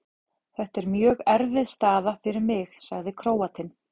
Þetta er mjög erfið staða fyrir mig, sagði Króatinn.